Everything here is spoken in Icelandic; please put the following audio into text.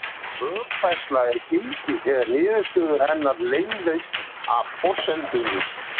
Rökfærsla er gild þegar niðurstöðu hennar leiðir af forsendunum.